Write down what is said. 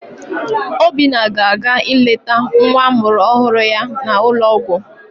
Obinna ga-aga ileta nwa amụrụ ọhụrụ ya n'ụlọọgwụ.